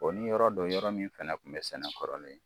O ni yɔrɔ do yɔrɔ min fana kun bɛ sɛnɛ kɔrɔlen